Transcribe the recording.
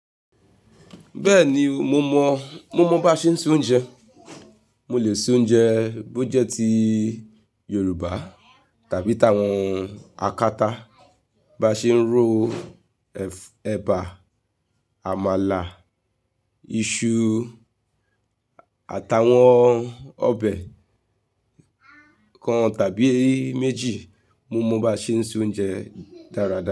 Bẹ́ẹ̀ni, mo mọ, mo mọ bá ṣe ń ṣe oúnjẹ. Mo lè ṣe oúnjẹ bó jẹ́ tí Yorùbá tàbí tàwọn akata bá ṣe ń rọ ẹ̀bà, àmàlà, iṣu àtàwọn ọbẹ̀ kan tàbí méjì mo mọ bá ṣe ń ṣe oúnjẹ dáradára.